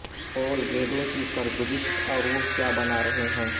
پول گیندوں کی سرگزشت اور وہ کیا بنا رہے ہیں